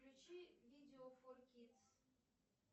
включи видео фор кидс